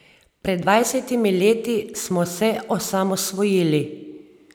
Pred dvajsetimi leti smo se osamosvojili.